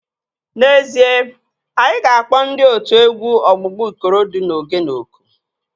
N'ezie, anyị ga-akpọ ndị otu egwu ọgbụgba Ikorodu na Ogene oku